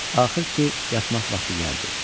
Axır ki, yatmaq vaxtı gəldi.